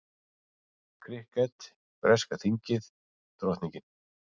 Krikket, breska þingið, drottningin.